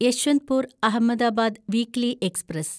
Yesvantpur Ahmedabad weekly express